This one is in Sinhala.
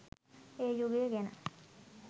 ඒ යුගය ගැන